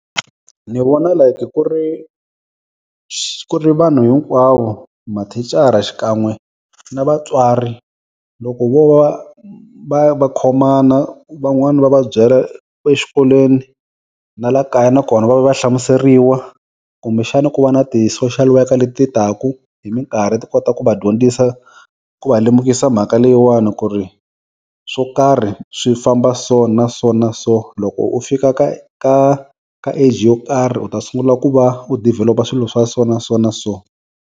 Ni vona like ku ri ku ri vanhu hinkwavo mathicara xikan'we na vatswari loko vo va va va khomana van'wani va va byela exikolweni na la kaya na kona va hlamuseriwa kumbe xana ku va na ti-social worker leti taka hi minkarhi ti kota ku va dyondzisa ku va lemukisa mhaka leyiwani ku ri swo karhi swi famba so na so na so loko u fika ka ka ka age yo karhi u ta sungula ku va u develop-a swilo swa so na so na so.